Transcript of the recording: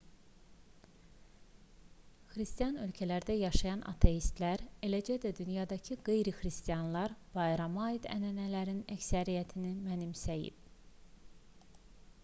xristian ölkələrdə yaşayan ateistlər eləcə də dünyadakı qeyri-xristianlar bayrama aid ənənələrin əksəriyyətini mənimsəyib